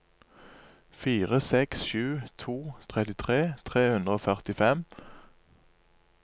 fire seks sju to trettitre tre hundre og førtifem